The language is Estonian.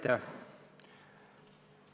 Aitäh!